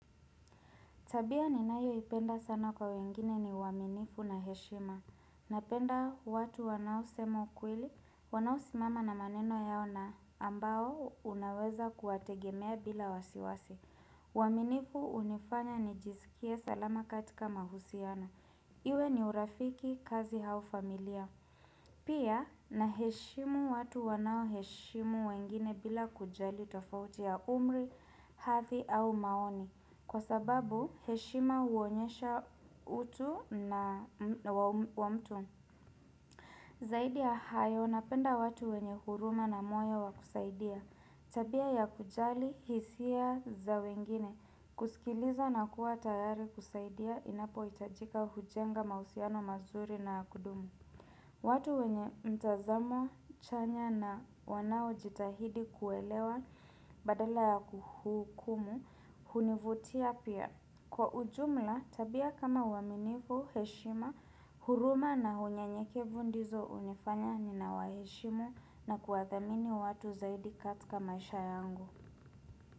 Tabia ninayoipenda sana kwa wengine ni uaminifu na heshima. Napenda watu wanaosema ukweli, wanaosimama na maneno yao na ambao unaweza kuwategemea bila wasiwasi. Uaminifu hunifanya nijisikie salama katika mahusiano. Iwe ni urafiki kazi hau familia. Pia naheshimu watu wanaoheshimu wengine bila kujali tofauti ya umri, hathi au maoni. Kwa sababu heshima huonyesha utu na wa mtu Zaidi ya hayo napenda watu wenye huruma na moya wakusaidia Tabia ya kujali hisia za wengine kusikiliza na kuwa tayari kusaidia inapohitajika hujenga mahusiano mazuri na ya kudumu watu wenye mtazamo chanya na wanaojitahidi kuelewa badala ya kuhukumu hunivutia pia Kwa ujumla, tabia kama uaminifu, heshima, huruma na hunyanyekevu ndizo hunifanya ninawaheshimu na kuwadhamini watu zaidi katika maisha yangu.